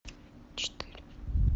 четыре